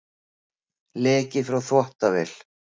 Leki frá þvottavél